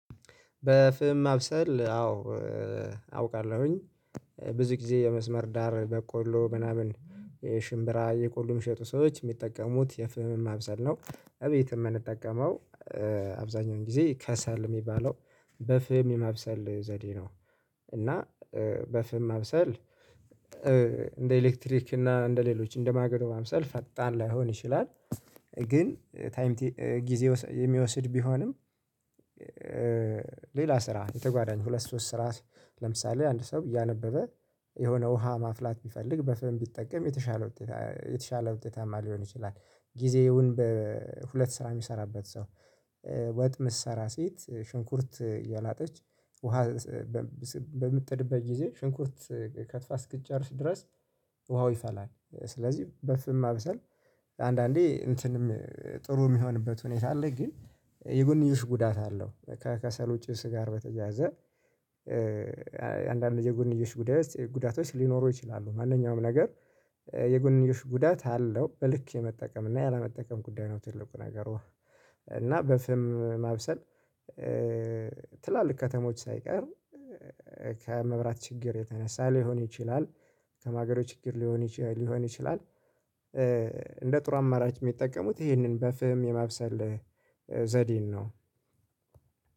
በፍም ማብሰል አዎ። አውቃለሁኝ። ብዙ ጊዜ የመስመር ዳር በቆሎ ምናምን የሽምብራ የቆሎ የሚሸጡ ሰዎች የሚጠቀሙት የፍምም አብዛን ነው እቤትም የምንጠቀመው። አብዛኛውን ጊዜ ከሰል የሚባለው በፍም የመብሰል ዘዴ ነው። እና በፍም መብሰል። እንደ ኤሌክትሪክ እና እንደ ሌሎች እንደ ማገዶ መብሰል ፈጣን ላይሆን ይችላል። ግን ታይም ጊዜ የሚወስድ ቢሆንም። ሌላ ስራ የተጓዳኝ ሁለት ሶስት ስራ ለምሳሌ አንድ ሰው እያነበበ የሆነ ውሃ ማፍላት ቢፈልግ በፍም ቢጠቀም የተሻለ ውጤት የተሻለ ውጤታማ ሊሆን ይችላል። ጊዜውን በሁለት ስራ የሚሰራበት ሰው። ወጥ ምሰራ ሴት ሽንኩርት የላጠች ውሃ ሽንኩርት በምትጥድብቤት ጊዜ። እሷ እስክትቼ በፍም ማብሰል አዎ አውቃለሁኝ ብዙ ጊዜ የመስመር ዳር። በቆሎ ምናምን የሽምብራ የቆሎ የሚሸጡ ሰዎች የሚጠቀሙት የፍምም አብዛን ነው እቤትም የምንጠቀመው አብዛኛውን ጊዜ ከሰል የሚባለው በፍም የመብሰል ዘዴ። ነው እና በፍም መብሰል እንደ ኤሌክትሪክ እና እንደ ሌሎች እንደ ማገዶ መብሰል ፈቅጣን ላይሆን ይችላል። እና በፍም ማብሰል። ትላልክ ከታሞች ግን። ታይም ጊዜ የሚወስድ ቢሆንም። ከማገዶ ችግር ሊሆን ይችላል። ሌላ ስራ የተጓዳኝ ሁለት ሶስት ስራ።